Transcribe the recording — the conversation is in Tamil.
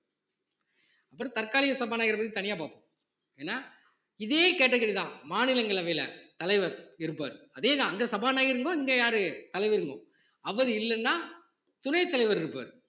அப்புறம் தற்காலிக சபாநாயகரைப் பத்தி தனியா பாப்போம் ஏன்னா இதே category தான் மாநிலங்களவையில தலைவர் இருப்பாரு அதே தான் அங்க சபாநாயகர்ங்கும்போது இங்க யாரு தலைவருங்குறோம் அவரு இல்லைன்னா துணைத் தலைவர் இருப்பாரு